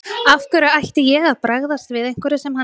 Af hverju ætti ég að bregðast við einhverju sem hann gerir.